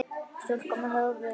Stúlka með höfuð.